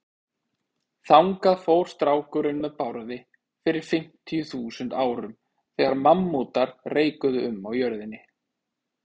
Þangað fór strákurinn með Bárði fyrir fimmtíu þúsund árum, þegar mammútar reikuðu um á jörðinni.